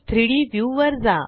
3डी व्ह्यू वर जा